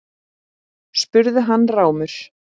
spurði hann rámur.